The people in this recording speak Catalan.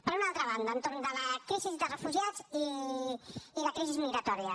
per una altra banda entorn de la crisi de refugiats i de crisi migratòria